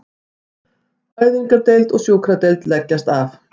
Fæðingardeild og sjúkradeild leggjast af